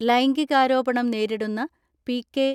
ലൈംഗികാരോപണം നേരിടുന്ന പി.കെ.